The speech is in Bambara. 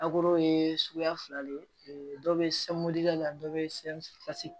Akoro ye suguya fila de ye dɔ bɛ la dɔ bɛ fasi